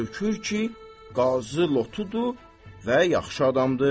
Görükür ki, qazı lotudur və yaxşı adamdır.